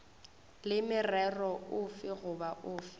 le morero ofe goba ofe